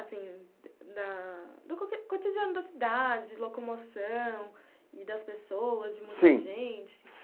Assim, da do cotidiano da cidade, locomoção e das pessoas. Sim. De muita gente?